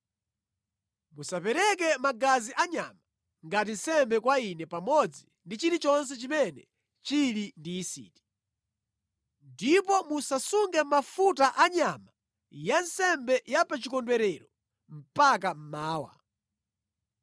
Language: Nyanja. “Musapereke magazi anyama ngati nsembe kwa Ine pamodzi ndi chilichonse chimene chili ndi yisiti. “Ndipo musasunge mafuta anyama yansembe ya pa chikondwerero mpaka mmawa.